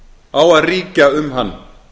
á að ríkja um hann